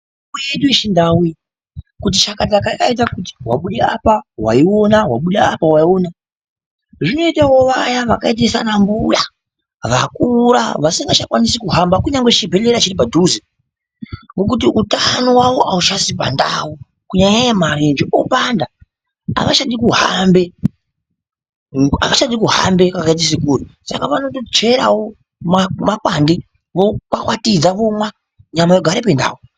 Mitombo yedu yechindau iyi kuti chakataka ayaita kuti wabude apa waiona wabuda apa waiona, zvinoitawo vaya vakaite sanambuya vakura vasingachakwanisi kuhamba kunyangwe chibhehleya chiri padhuze ngokuti utano hwavo hauchasi pandau kunyanyanyanya marenje opanda avachadi kuhambe avachadi kuhambe pakaite somukuwo, saka vanotocherawo makwande vokwakwatidza vomwa nyama yogare pandau.